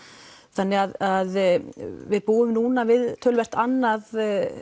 þannig að við búum núna við töluvert annað